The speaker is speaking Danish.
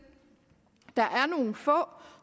der er nogle få